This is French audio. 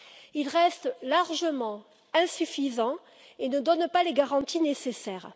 Il reste largement insuffisant et ne donne pas les garanties nécessaires.